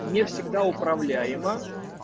не всегда управляема